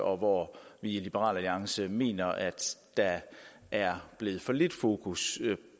og hvor vi i liberal alliance mener at der er blevet for lidt fokus